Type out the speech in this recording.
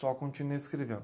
Só continuei escrevendo.